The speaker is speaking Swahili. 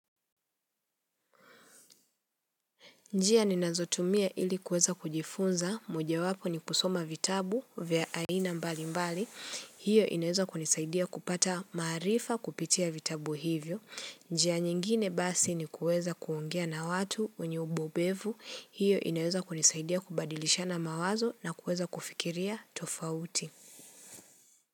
Njia ninazotumia ili kuweza kujifunza, moja wapo ni kusoma vitabu vya aina mbali mbali. Hiyo inaweza kunisaidia kupata maarifa kupitia vitabu hivyo. Njia nyingine basi ni kuweza kuongea na watu wenye ubobevu. Hiyo inaweza kunisaidia kubadilisha na mawazo na kuweza kufikiria tofauti.